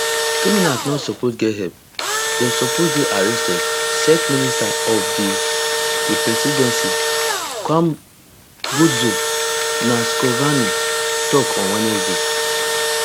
criminals no suppose get help dem suppose dey arrested minister for di di presidency khumbudzo ntshavheni tok on wednesday